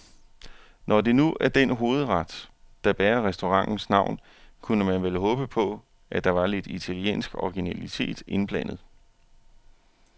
Når det nu er den hovedret, der bærer restaurantens navn, kunne man vel håbe på, at der var lidt italiensk originalitet indblandet.